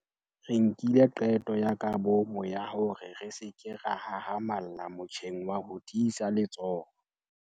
Re nkile qeto ya kabomo ya hore re se ke ra hahamalla motjheng wa ho tiisa letsoho.